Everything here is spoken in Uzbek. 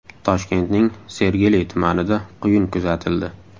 Toshkentning Sergeli tumanida quyun kuzatildi.